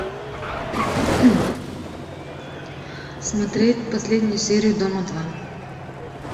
смотреть последнюю серию дома два